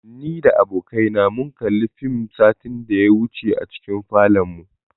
Ni da abokai na mun kalli fim satin da ya wuce a cikin falonmu.